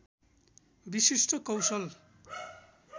विशिष्ट कौशल